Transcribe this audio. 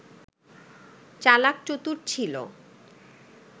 চালাক-চতুর ছিল